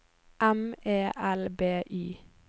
M E L B Y